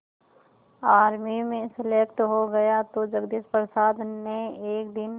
army में selected हो गया तो जगदीश प्रसाद ने एक दिन